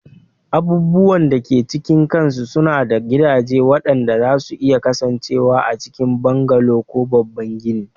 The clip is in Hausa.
Abubuwan da ke cikin kansu suna da gidaje waɗanda zasu iya kasancewa a cikin bungalow ko babban gini